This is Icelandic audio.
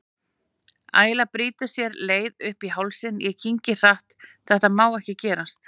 Æla brýtur sér leið upp í hálsinn, ég kyngi hratt, þetta má ekki gerast.